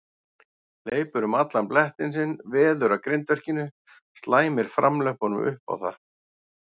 Hleypur um allan blettinn sinn, veður að grindverkinu, slæmir framlöppunum upp á það.